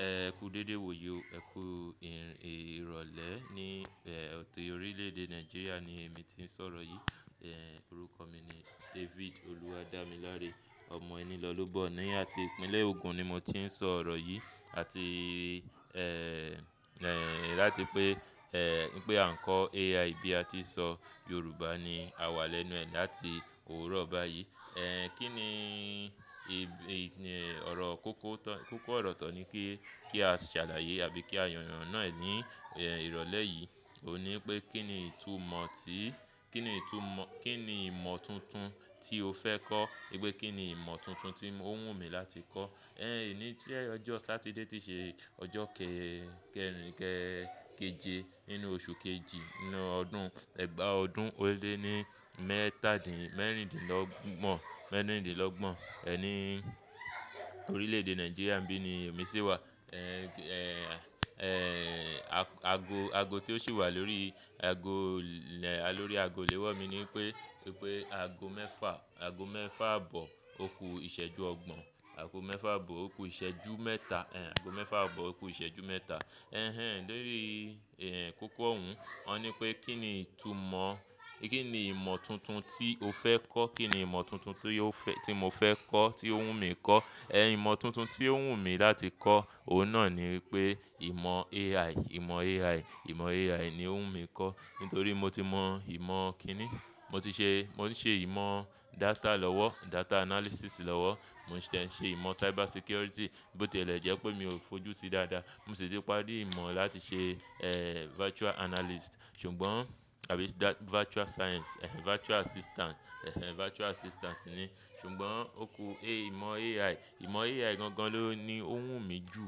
Ẹ kú dédé, wò ó yìí o. Ẹ kú ìrọ̀lẹ́ ní ọtí orílẹ̀-èdè Nàìjíríà ni èmi tí ń sọ̀rọ̀ yìí. Ẹ̀, orúkọ mi ni David Oluwadamilare, ọmọ ẹni lọ́lobọ̀ ní àti ìpínlẹ̀ Ogun ni mo tí ń sọ̀rọ̀ yìí. Àti, ẹ́, láti pé, ẹ́, pé àńkọ AI bí a ti ṣọ Yorùbá ni a wà lẹ́nu ẹ láti òwúrọ̀ báyìí. Ẹ̀, kí ni ìgb-- ọ̀rọ̀ kókó tọ-- kókó ọ̀rọ̀ tọ̀ ni kí, kí a ṣàlàyé àbí kí a yànàn náà ẹ́ ní ìrọ̀lẹ́ yìí. Ó ní pé kí ni ìtumọ̀ tí, kí ni ìtumọ̀-- kí ni ìmọ̀ tuntun tí o fẹ́ kọ́? E gbé kí ni ìmọ̀ tuntun tí ó wù mí láti kọ́? Ẹ̀, èní jẹ ọjọ́ Satide ti ṣe ọjọ́ kẹrìn kẹ, keje nínú oṣù kejì nínú ọdún, ẹ̀gbà ọdún ó lé ní mẹ́tàdín-mẹ́rìndínlọ́gbọ̀n, mẹ́rìndínlọ́gbọ̀n, ẹ́, ní orílẹ̀-èdè Nàìjíríà ńbí ni èmi sì wà. Ẹ̀, ago, ago tí ó sì wà lórí ago lẹ, lórí ago lewọ̀ mi ní pé pé ago mẹ́fà, ago mẹ́fà bọ̀, o ku ìṣẹ́jú ọgbọ̀n, ago mẹ́fà bọ̀, o ku ìṣẹ́jú mẹ́ta, ẹ́, ago mẹ́fà bọ̀, o ku ìṣẹ́jú mẹ́ta. Ẹ̀hẹn, lórí, ẹ́, kókó òún, wọ́n ní pé kí ni ìtumọ̀, kí ni ìmọ̀ tuntun tí o fẹ́ kọ́? Kí ni ìmọ̀ tuntun tí ó fẹ́-- tí mo fẹ́ kọ́, tí ó wù mí kọ́? Ẹ̀, ìmọ̀ tuntun tí ó wù mí láti kọ́, òun náà ni wípé ìmọ̀ AI, ìmọ̀ AI, ìmọ̀ AI ni ó wù mí kọ́. Nítorí mo ti mọ ìmọ̀ kí ni, mo ti ṣe, mo ti ṣe ìmọ̀ data lọ́wọ́, data analysis lọ́wọ́, mo sẹ̀ ṣe ìmọ̀ cyber security, bó tí èlẹ́ jẹ́ pé mi ò fojú sí dáadáa. Mo sì ti parí ìmọ̀ láti ṣe, ẹ́, virtual analyst. Ṣùgbọ́n àbí virtual science, ẹ́, virtual assistant, ẹ́hẹn, virtual assistance ni. Ṣùgbọ́n o ku A-- ìmọ̀ AI, ìmọ̀ AI gan-gan ló ni ó wù mí jù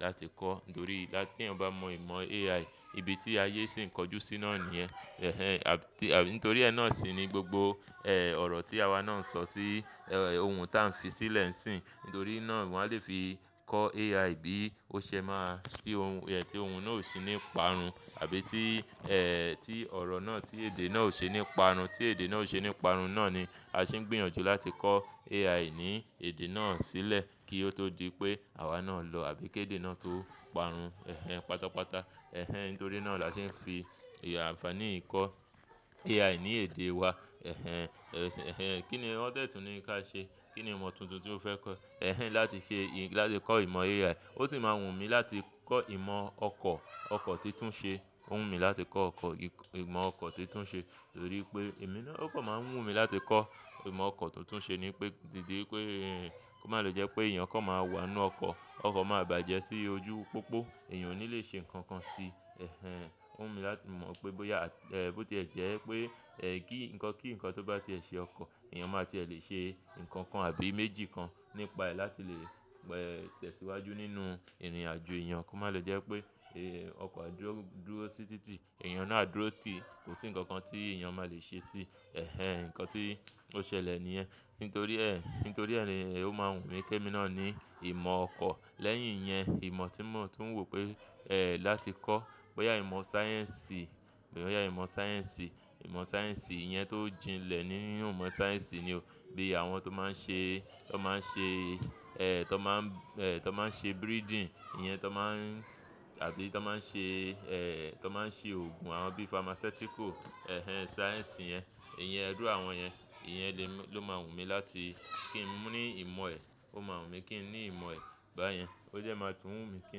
láti kọ́. Nítorí lá-- tí eyan bá mọ ìmọ̀ AI, ibi tí ayé sì ń kọjú síná ni ẹ́. Ẹ̀hẹn, àbí nítorí ẹ́ náà sì ni gbogbo, ẹ́, ọ̀rọ̀ tí àwa náà ń sọ sí, ẹ́, ohun tí a ń fi sílẹ̀ ń sìn. Nítorí náà wọ́n á lè fi kọ́ AI bí ó ṣe máa fi ohun, ẹ́, tí ohun náà ò ṣi nípa run àbí tí, ẹ́, tí ọ̀rọ̀ náà tí èdè náà ò ṣe nípa run, tí èdè náà ò ṣe nípa run náà ni a sì ń gbìyànjú láti kọ́ AI AI ní èdè náà sílẹ̀ kí ó tó di pé àwa náà lọ àbí kí èdè náà tó parun. Ẹ̀hẹn, pátápátá, ẹ́hẹn, nítorí náà la ṣe ń fi àǹfààní i kọ́ AI ní èdè wa. Ẹ̀hẹn, ẹ́, ẹ́hẹn, kí ni wọ́n tẹ́tù ní ka ṣe? Kí ni ìmọ̀ tuntun tí ó fẹ́ kọ́? Ẹ̀hẹn, láti ṣe, láti kọ́ ìmọ̀ AI. Ó sì máa wù mí láti kọ́ ìmọ̀ ọkọ̀, ọkọ̀ tí tún ṣe. Ó wù mí láti kọ́ ọkọ̀, ìmọ̀ ọkọ̀ tí tún ṣe. Nítorí pé èmi náà, okọ̀ máa ń wù mí láti kọ́. Ìmọ̀ ọkọ̀ tuntun ṣe ni pé, dìde pé kó má lo jẹ́ pé èèyàn kọ̀ máa wa inú ọkọ̀, ọkọ̀ máa bàjẹ́ sí ojú pópó, èèyàn ò ní lè ṣe nǹkan kan síi. Ẹ̀hẹn, ó wù mí láti mọ̀ pé bóyá, ẹ́, bó tí è jẹ́ pé, ẹ́, kí, nǹkan kí nǹkan tó bá tiẹ̀ ṣe ọkọ̀, èèyàn máa tiẹ̀ lè ṣe nǹkan kan àbí méjì kan nípa ẹ́ láti lè, ẹ́, tẹ̀síwájú nínú ìrìnàjò. Ẹ̀yàn kó má lọ jẹ́ pé, ẹ́, ọkọ̀ á dúró sí títì, èèyàn náà á dúró tì, kò sí nǹkan kan tí èèyàn má lè ṣe síí. Ẹ̀hẹn, nǹkan tí ó ṣẹlẹ̀ ni ẹ́. Nítorí ẹ́, nítorí ẹ́ ni ó máa ń wù mí kí èmi náà ní ìmọ̀ ọkọ̀. Lẹ́yìn yẹn, ìmọ̀ tí mo tún wò pé, ẹ́, láti kọ́, bóyá ìmọ̀ sáyẹ́ǹsì, bóyá ìmọ̀ sáyẹ́ǹsì, ìmọ̀ sáyẹ́ǹsì yẹn tó jinlẹ̀ ní ú ìmọ̀ sáyẹ́ǹsì ni o. Bí i àwọn tó máa ń ṣe, tó máa ń ṣe, ẹ́, tó máa ń, ẹ́, tó máa ń ṣe breeding, ìyẹn tó máa ń-- àbí tó máa ń ṣe, ẹ́, tó máa ń ṣe òògùn àwọn bí i pharmaceutical. Ẹ̀hẹn, sáyẹ́ǹsì yẹn, ìyẹn ẹdú àwọn yẹn, ìyẹn lè mọ-- ló máa wù mí láti kí n ní ìmọ̀ ẹ. Ó máa wù mí kí n ní ìmọ̀ ẹ báyẹn. Ó jẹ́ máa tún wù mí kí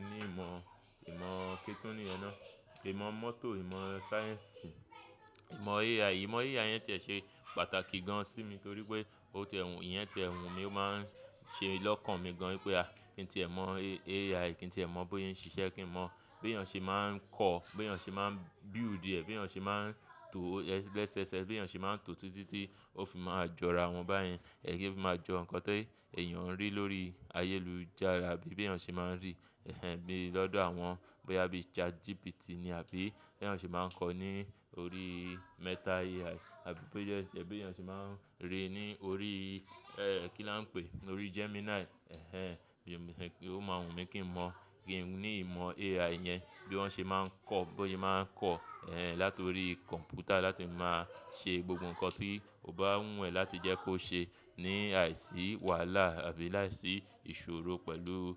n ní ìmọ̀, ìmọ̀ kí tún ni ẹ náà? Ìmọ̀ mọ́tò, ìmọ̀ sáyẹ́ǹsì, ìmọ̀ AI. Ìmọ̀ AI yẹn tiẹ̀ ṣe pàtàkì gan sí mi torí pé ó ti ẹ́ hun, ìyẹn ti ẹ́ hun mi máa ń ṣe lọ́kàn mi gan pé a kí n tí ẹ mọ̀ AI, kí n tí ẹ mọ̀ bóyé ń ṣiṣẹ́, kí n mọ̀ beyáń ṣe máa ń kọ́, beyáń ṣe máa ń build ẹ̀, beyáń ṣe máa ń to ẹ́ bless, bless, beyáń ṣe máa ń to títí tí ó fi máa jọ ara wọn báyẹn. Ẹ̀ kí ma jọ nǹkan ti èèyàn ń rí lórí ayélujára àbí beyáń ṣe máa ń rí. Ẹ̀hẹn, bí i lọ́dọ̀ àwọn bóyá bíi ChatGPT ni àbí beyáń ṣe máa ń kọ̀ ọ́ ní orí Meta AI àbí bóyá jẹ́ beyáń ṣe máa ń ríi ní orí, ẹ́, kí la ń pè? Orí Gemini. Ẹ̀hẹn, ó máa wù mí kí n mọ̀, kí n ní ìmọ̀ AI yẹn, bí wọ́n ṣe máa ń kọ́, bóyé máa ń kọ̀, ẹ́, látorí kọ̀ǹpútà láti máa ṣe gbogbo nǹkan tí ó bá wù ẹ́ láti jẹ́ kó ṣe ní àìsí wàhálà àbí láìsí ìṣòro pẹ̀lú.